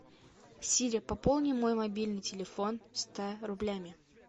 сири пополни мой мобильный телефон ста рублями